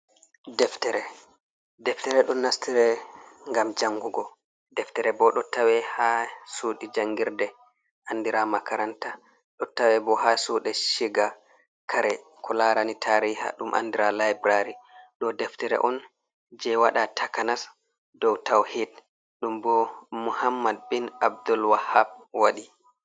Deftere, deftere ɗon naftira ngam jangugo, deftere bo ɗo tawe ha suɗi jangirde andira makaranta, do tawe bo ha suɗi shiga kare, ko larani tariha ɗum andira laibrary, ɗo deftere on je waɗa takanas dow tawhed ɗum bo muhammad bin abdul wahap waɗi.